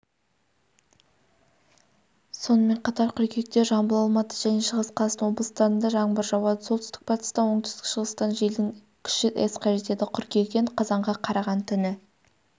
сонымен қатар қыркүйекте жамбыл алматы және шығыс қазақстан облыстарында жаңбыр жауады солтүстік-батыстан оңтүстік-шығыстан желдің күші с-қа жетеді қыркүйектен қазанға қараған түні